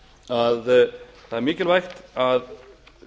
að það er mikilvægt að